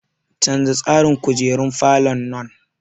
Canza tsarin kujerun falon nan!